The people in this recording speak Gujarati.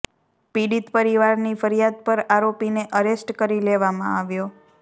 પીડિત પરિવારની ફરિયાદ પર આરોપીને અરેસ્ટ કરી લેવામાં આવ્યો